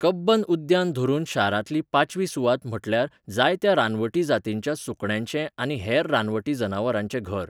कब्बन उद्यान धरून शारांतली पाचवी सुवात म्हटल्यार जायत्या रानवटी जातींच्या सुकण्यांचें आनी हेर रानवटी जनावरांचें घर.